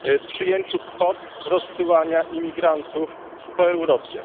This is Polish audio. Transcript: przyjęciu kwot rozsyłania imigrantów po Europie.